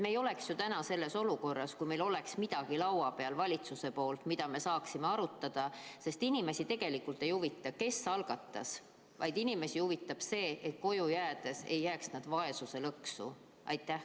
Me ei oleks ju täna selles olukorras, kui meil oleks laual valitsuselt midagi, mida me saaksime arutada, sest inimesi tegelikult ei huvita, kes algatas, vaid inimesi huvitab see, et koju jäädes ei jääks nad vaesuslõksu.